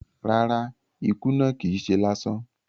Rárá, ikú náà kìí se lásán